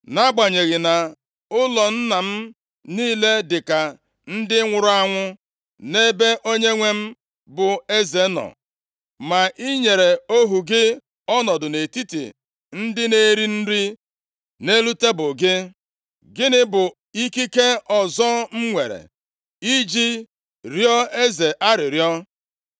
Nʼagbanyeghị na ụlọ nna m niile dịka ndị nwụrụ anwụ nʼebe onyenwe m bụ eze nọ, ma i nyere ohu gị ọnọdụ nʼetiti ndị na-eri nri nʼelu tebul gị. Gịnị bụ ikike ọzọ m nwere iji rịọọ eze arịrịọ?”